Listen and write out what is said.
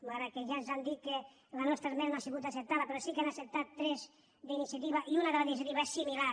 malgrat que ja ens han dit que la nostra esmena no ha sigut acceptada però sí que n’han acceptat tres d’ini·ciativa i una de les d’iniciativa és similar